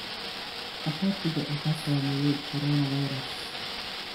Qaxootiga waxaa saameeyay coronavirus.